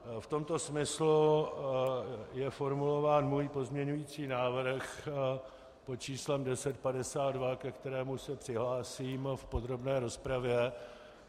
V tomto smyslu je formulován můj pozměňující návrh pod číslem 1052, ke kterému se přihlásím v podrobné rozpravě.